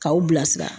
K'aw bilasira